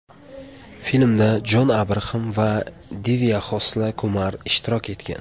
Filmda Jon Abraxam va Divya Xosla Kumar ishtirok etgan.